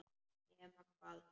Nema hvað!